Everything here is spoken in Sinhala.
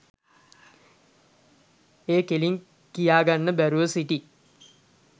එය කෙලින් කියාගන්න බැරුව සිටි